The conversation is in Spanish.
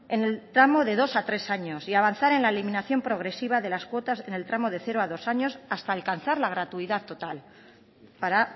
en el tramo de dos a tres años y avanzar en la eliminación progresiva de las cuotas en el tramo de cero a dos años hasta alcanzar la gratuidad total para